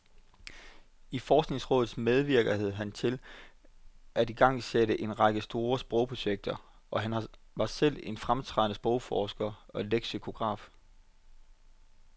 I forskningsrådet medvirkede han til at igangsætte en række store sprogprojekter, og han var selv en fremtrædende sprogforsker og leksikograf.